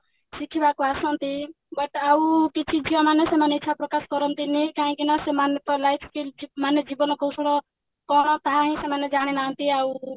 ଶିଖିବାକୁ ଆସନ୍ତି but ଆଉ କିଛି ଝିଅମାନେ ସେମାନେ ଇଛା ପ୍ରକାଶ କରନ୍ତିନି କାହିଁକି ନା ସେମାନଙ୍କ life କିଞ୍ଚିତ ମାନେ ଜୀବନ କୌଶଳ କଣ ତାହାହିଁ ସେମାନେ ଜାଣିନାହାନ୍ତି ଆଉ